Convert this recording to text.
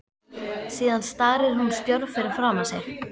Síðan starir hún stjörf fram fyrir sig.